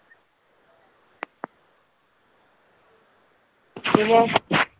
പിന്നെ.